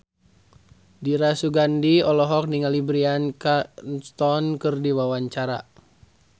Dira Sugandi olohok ningali Bryan Cranston keur diwawancara